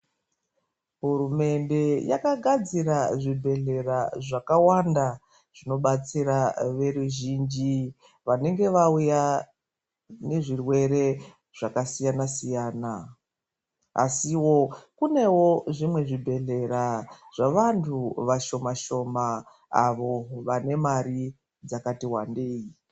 Hurumende yakagadzira zvibhedhlera zvakawanda zvinobatsira veruzhinji vanenge vauya nezvirwere zvakasiyana siyana. Asiwo kunewo zvimwe zvibhedhlera zvevantu vashoma-shoma avo vane mari dzakati wandei.